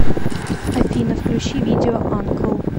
афина видео анкл